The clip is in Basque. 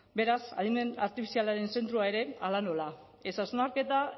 beraz adimen artifizialaren zentroa ere hala nola ez hausnarketa